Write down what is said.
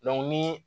ni